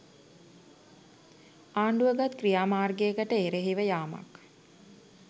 ආණ්ඩුව ගත් ක්‍රියාමාර්ගයකට එරෙහිව යාමක්